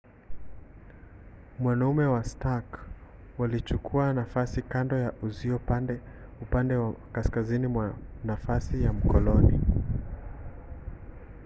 wanaume wa stark walichukua nafasi kando ya uzio upande wa kaskazini mwa nafasi ya mkoloni